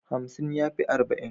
Hamsin ya fi arba'in.